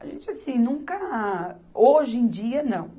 A gente, assim, nunca... Hoje em dia, não.